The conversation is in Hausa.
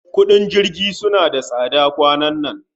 Kudin jirgi sunna da tsada kwanan nan